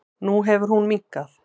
Nú hefur hún minnkað.